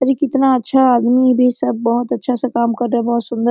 अरे कितना अच्छा आदमी भी सब बोहोत अच्छा से काम कर रहा है बोहोत सुन्दर --